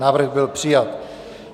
Návrh byl přijat.